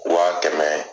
Waa kɛmɛ